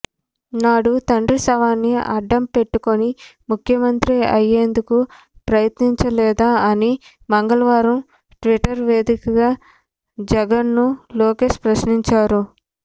నాడు తండ్రి శవాన్ని అడ్డం పెట్టుకుని ముఖ్యమంత్రి అయ్యేందుకు ప్రయత్నించలేదా అని మంగళవారం ట్విట్టర్ వేదికగా జగన్ను లోకేష్ ప్రశ్నించారు